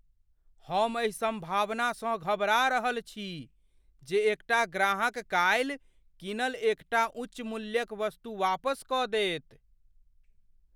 हम एहि संभावनासँ घबरा रहल छी जेएकटा ग्राहक काल्हि कीनल एक टा उच्च मूल्यक वस्तु वापस कऽ देत।